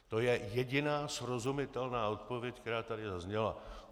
To je jediná srozumitelná odpověď, která tady zazněla.